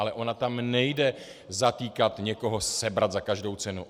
Ale ona tam nejde zatýkat, někoho sebrat za každou cenu.